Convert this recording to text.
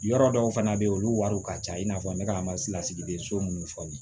Yɔrɔ dɔw fana bɛ yen olu wariw ka ca i n'a fɔ n bɛ ka masinadenso minnu fɔ ni